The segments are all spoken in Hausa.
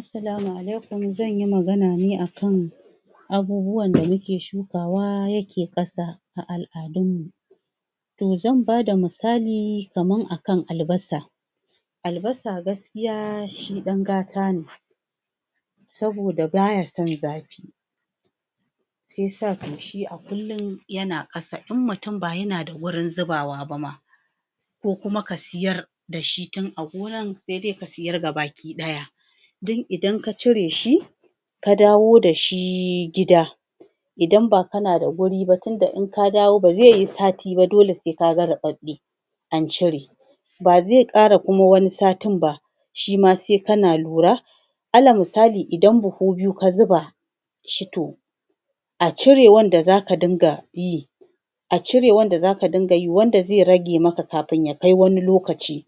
Assalamu alaikum zan yi magana ne akan abubuwan da muke shukawa yake ƙasa a al'adunmu to zan bada misali kamar akan Albasa Albasa gaskiya shi ɗan gata ne sabida bata son zarfi shi ya to shi a kullum yana ƙasa in mutum ba yana da wurin zubawa ba ma ko kuma ka siyar da shi tun a gonar sai sai dai ka siyar da shi gabaki ɗaya don idan ka cire shi ka dawo da shi gida idan ba kana da wuri ba tunda in ka dawo ba zai yi sati ba dole sai ka ga ruɓaɓɓe an cire ba zai ƙara kuma wani satin ba shi ma sai kana lura alal misali idan buhu biyu ka zuba shi to a cirewan da zaka dinga yi a cirewan da zaka dinga yi wanda zai rage mata kafin ya kai wani lokaci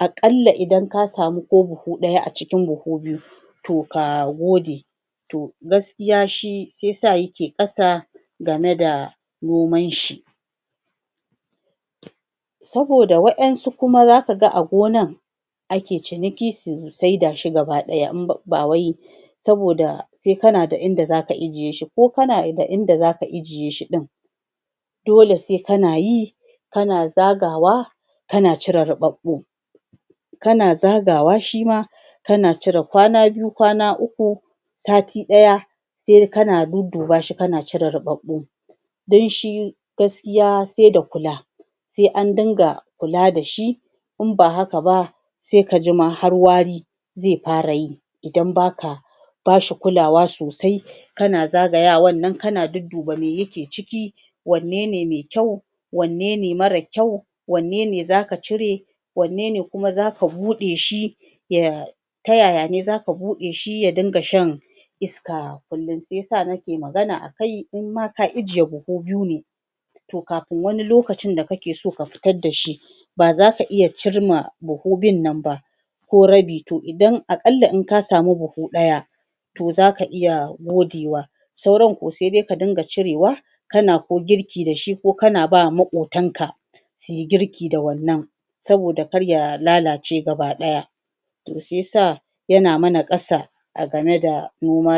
a ƙalla idan ka samu ko budu ɗaya a cikin buhu biyu to ka gode to gaskiya shi shi ya sa yake ɓata game da noman shi saboda wa'yansu kuma zaka ga a gonar ake ciniki su saida shi gaba ɗaya ba wai saboda sai kana da inda zaka injiye shi ko kana da inda zaka ijiyeshi ɗin dole sai kanayi kana zagawa ka cire ruɓaɓɓu kana zagawa shi ma kana cire kwana biyu kwana uku sati ɗaya kai kana dudduba shi kana cire ruɓaɓɓun dan shi gaskiya sai da kula sai an dinga kula da shi in ba haka ba sai ka jima har wari zai fara yi idan baka ba shi kulawa sosai kana zagayan nan kana dudduba me yake ciki wanne ne mai kyau wanne ne marar kyau wanne ne zaka cire wanne ne kuma zaka buɗe shi? ta yaya ne zaka buɗe shi ya dinga sha iska kullum shi ya sa neke magana akai in ma ka ijiye buhu biyu ne to kafin wani lokacin da kake so ka fitar da shi ba zaka iya cimma buhun ɗin nan ba ko rabi to idan a ƙalla in ka samu buhu ɗaya to zaka iya modewa sauran kuwa sai dai dinga cirewa kana ko girki da shi ko kana bawa maƙotanka sui girki da wannan saboda kar ya lalace gaba ɗaya to shi ya sa yana mana ƙasa a game da noma